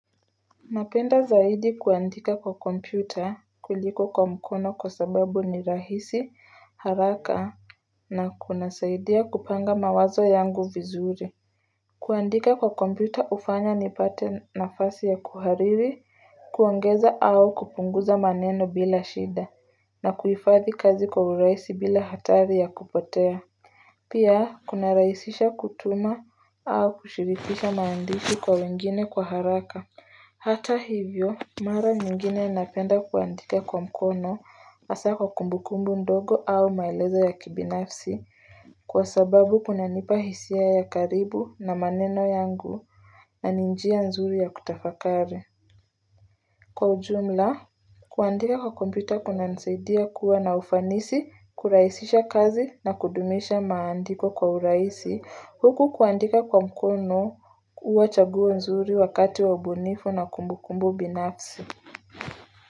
Napenda zaidi kuandika kwa kompyuta kuliko kwa mkono kwa sababu ni rahisi haraka na kunasaidia kupanga mawazo yangu vizuri Kuandika kwa kompyuta ufanya ni pate nafasi ya kuhariri Kuongeza au kupunguza maneno bila shida na kuifathi kazi kwa uraisi bila hatari ya kupotea Pia kuna rahisisha kutuma au kushirifisha maandishi kwa wengine kwa haraka Hata hivyo, mara nyingine napenda kuandika kwa mkono, asa kwa kumbu kumbu ndogo au maelezo ya kibinafsi, kwa sababu kuna nipa hisia ya karibu na maneno yangu na ninjia nzuri ya kutafakari. Kwa ujumla, kuandika kwa kompyuta kuna nsaidia kuwa na ufanisi, kuraisisha kazi na kudumisha maandiko kwa uraisi. Huku kuandika kwa mkono uwa chaguo nzuri wakati wabunifu na kumbukumbu binafsi.